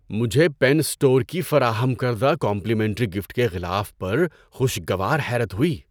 مجھے pen store کی فراہم کردہ کمپلیمنٹری گفٹ کے غلاف پر خوشگوار حیرت ہوئی۔